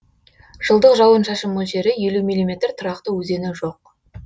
жылдық жауын шашын мөлшері елу миллиметр тұрақты өзені жоқ